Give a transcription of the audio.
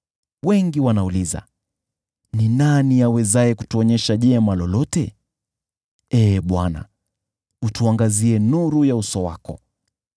Wengi wanauliza, “Ni nani awezaye kutuonyesha jema lolote?” Ee Bwana , tuangazie nuru ya uso wako.